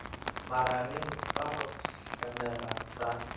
magareng sa go hlamega sa